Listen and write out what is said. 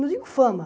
Não digo fama.